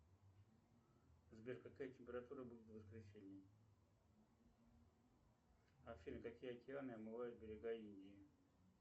сбер какая температура будет в воскресенье афина какие океаны омывают берега индии